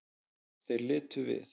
Þeir litu við.